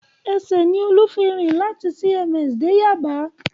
Ẹsẹ̀ ni Olú fi rìn láti CMS dé Yaba